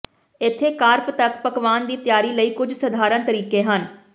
ਇੱਥੇ ਕਾਰਪ ਤੱਕ ਪਕਵਾਨ ਦੀ ਤਿਆਰੀ ਲਈ ਕੁਝ ਸਧਾਰਨ ਤਰੀਕੇ ਹਨ